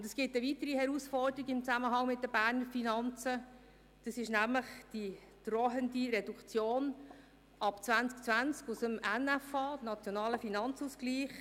Es gibt eine weitere Herausforderung in Zusammenhang mit den Berner Finanzen, nämlich die drohende Reduktion der Einnahmen aus dem NFA ab 2020.